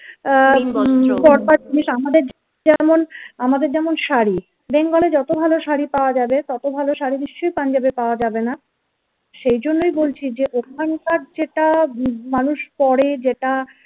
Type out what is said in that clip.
আহ আমাদের যেমন আমাদের যেমন শাড়ি বেঙ্গলে যত ভালো শাড়ি পাওয়া যাবে তত ভালো শাড়ি নিশ্চয়ই punjab এ পাওয়া যাবে না সেই জন্যই বলছি যে ওখানকার যেটা মানুষ পড়ে যেটা